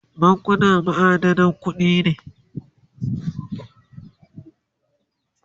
bankuna ma'adanan kuɗi ne